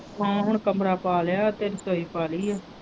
ਨਾਲੇ ਕਮਰਾ ਪਾ ਲਿਆ ਇੱਕ ਰਸੋਈ ਪਾ ਲਈ ਹੈ।